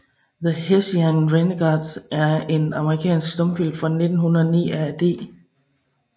The Hessian Renegades er en amerikansk stumfilm fra 1909 af D